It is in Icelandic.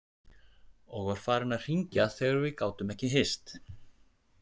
Og var farinn að hringja þegar við gátum ekki hist.